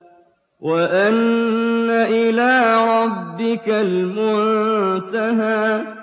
وَأَنَّ إِلَىٰ رَبِّكَ الْمُنتَهَىٰ